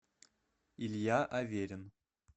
илья аверин